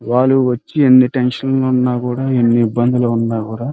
వాళ్లు వచ్చి ఎన్ని టెన్షన్లో ఉన్న కూడా ఎన్ని ఇబ్బందిలో ఉన్న కూడా --